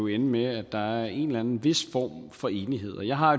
ende med at der er en vis form for enighed og jeg har